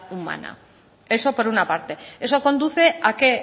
humana eso por una parte eso conduce a qué